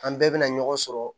An bɛɛ bɛ na ɲɔgɔn sɔrɔ